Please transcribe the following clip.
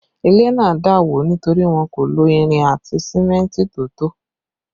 Ilé náà dà wó nítorí wọn kò lo irin àti símẹ́ntì tó tó